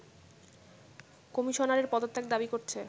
কমিশনারের পদত্যাগ দাবি করছে